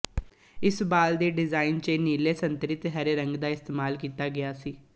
ਇਸ ਬਾਲ ਦੇ ਡਿਜ਼ਾਈਨ ਚ ਨੀਲੇ ਸੰਤਰੀ ਤੇ ਹਰੇ ਰੰਗ ਦਾ ਇਸਤੇਮਾਲ ਕੀਤਾ ਗਿਆ ਸੀ